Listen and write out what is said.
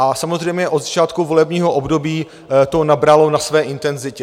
A samozřejmě od začátku volebního období to nabralo na své intenzitě.